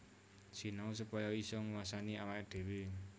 Sinau supaya isa nguwasani awaké dhéwé